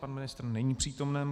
Pan ministr není přítomen.